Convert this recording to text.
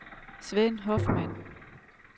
Sven Hoffmann